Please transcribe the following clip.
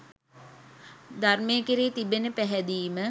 ධර්මය කෙරෙහි තිබෙන පැහැදීම